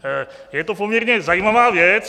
Je to poměrně zajímavá věc.